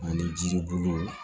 Ani jiribolo